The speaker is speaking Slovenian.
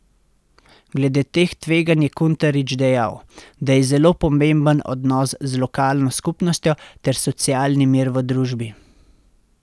Glede teh tveganj je Kuntarič dejal, da je zelo pomemben odnos z lokalno skupnostjo ter socialni mir v družbi.